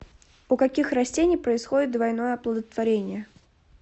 у каких растений происходит двойное оплодотворение